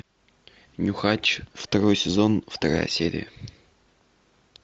нюхач второй сезон вторая серия